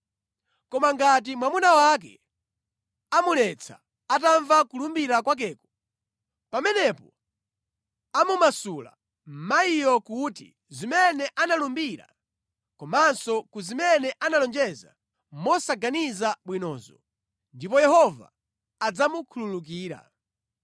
Koma ngati mwamuna wake amuletsa atamva kulumbira kwakeko, pamenepo amumasula mayiyo ku zimene analumbira komanso ku zimene analonjeza mosaganiza bwinozo ndipo Yehova adzamukhululukira.